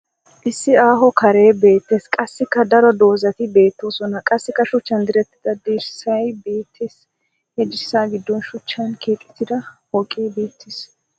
Issi aaho karee beettes. Qassikka daro dozzati beettoosona. Qassikka shuchchan direttida dirssay beettes. He dirssa giddon shuchchan keexettida pooqe beettes.